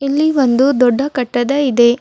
ಇಲ್ಲಿ ಒಂದು ದೊಡ್ಡ ಕಟ್ಟದ ಇದೆ.